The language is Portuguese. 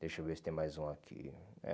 Deixa eu ver se tem mais um aqui.